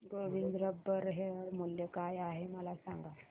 Govind rubber share मूल्य काय आहे मला सांगा